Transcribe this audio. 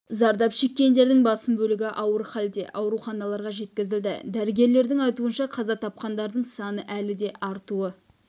зардап шеккендердің басым бөлігі ауыр халде ауруханаларға жеткізілді дәрігерлердің айтуынша қаза тапқандардын саны әлі де артуы